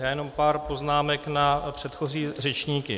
Já jenom pár poznámek na předchozí řečníky.